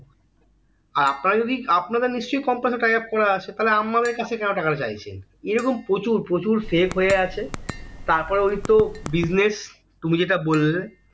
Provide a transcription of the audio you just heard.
আর আপনারা আপনাদের নিশ্চই company এর সঙ্গে tie up করা আছে তাহলে আমাদের কাছে কেন টাকাটা চাইছে এরকম প্রচুর প্রচুর fake হয়ে আছে তারপরে ওই তো business তুমি যেটা বললে